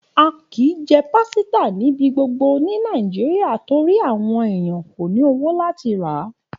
A ki jẹ písà níbi gbogbo ni Nàíjíríà torípẹ́ àwon èèyàn ko ni owó láti ra.